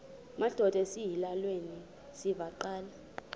madod asesihialweni sivaqal